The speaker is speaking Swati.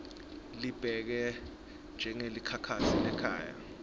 libeke njengelikhasi lekhaya